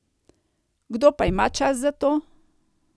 Kdo pa ima čas za to?